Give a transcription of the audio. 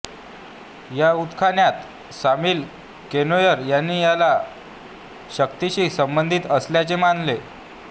या उत्खननात सामील केनोयर यांनी याला शक्तीशी संबंधित असल्याचे मानले